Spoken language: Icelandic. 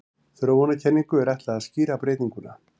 Þróunarkenningu er ætlað að skýra breytinguna.